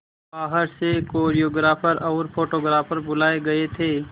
बाहर से कोरियोग्राफर और फोटोग्राफर बुलाए गए थे